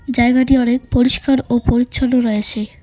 জায়গাটি অনেক পরিষ্কার ও পরিচ্ছন্ন রয়েছে।